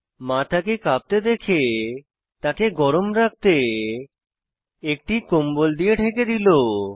মা তাকে কাঁপতে দেখে তাকে গরম রাখতে একটি কম্বল দিয়ে ঢেকে দিলো